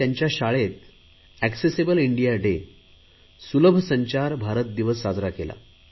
त्यांच्या शाळेत accessible India day सुलभसंचार भारत दिवस साजरा केला